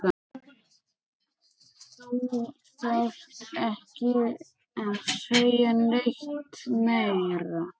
Þú þarft ekki að segja neitt meira